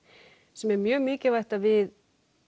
sem er mjög mikilvægt að við